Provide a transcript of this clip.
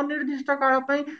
ଅନିର୍ଦିଷ୍ଟ କାଳ ପାଇଁ